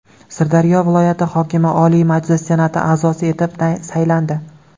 Sirdaryo viloyati hokimi Oliy Majlis Senati a’zosi etib saylandi.